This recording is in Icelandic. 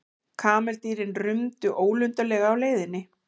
Kameldýrin rumdu ólundarlega á leiðinni.